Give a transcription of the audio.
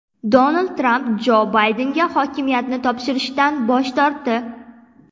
Donald Tramp Jo Baydenga hokimiyatni topshirishdan bosh tortdi.